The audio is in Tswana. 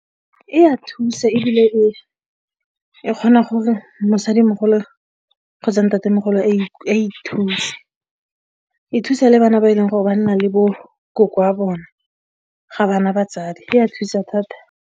E a thusa ebile e kgona gore mosadimogolo kgotsa ntatemogolo a ithuse, e thusa le bana ba e leng gore banna le bo nkoko wa bone ga ba na batsadi, e a thusa thata.